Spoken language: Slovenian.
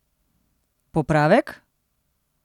Popravek?